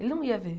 Ele não ia ver.